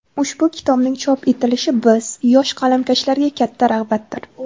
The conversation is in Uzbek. Ushbu kitobning chop etilishi biz, yosh qalamkashlarga katta rag‘batdir.